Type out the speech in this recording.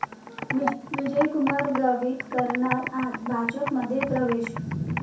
विजयकुमार गावित करणार आज भाजपमध्ये प्रवेश